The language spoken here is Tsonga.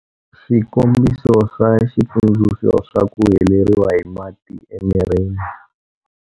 Swikombiso swa xitsundzuxo swa ku heleriwa hi mati emirini.